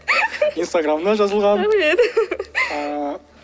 инстаграмына жазылғам рахмет ыыы